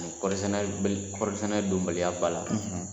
kɔɔri sɛnɛ b kɔɔri sɛnɛ donbaliya ba la,